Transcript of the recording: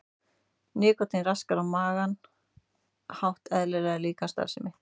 Nikótín raskar á margan hátt eðlilegri líkamsstarfsemi.